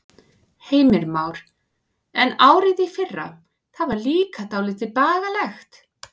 Heimir Már: En árið í fyrra, það var líka dálítið bagalegt?